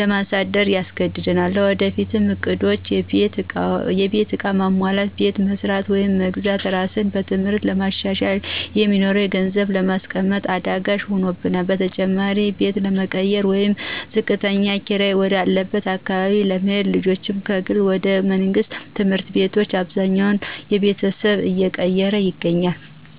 ለማሳደር ያስገድደናል። ለወደፊት እቅዶች(የቤት ዕቃ ማሟላት፣ ቤት መስራት ወይም መግዛት፣ ራስን በትምህርት ለማሻሻል) የሚሆን ገንዘብ ለማስቀመጥ አዳጋች ሆኖብናል። በተጨማሪም ቤት ለመቀየር ወይም ዝቅተኛ ኪራይ ወደ አለበት አካባቢ ለመሄድና ልጆችንም ከግል ወደ መንግስት ትምህርት ቤቶች አብዛኛው ቤተሰብ እየቀየረ ይገኛል።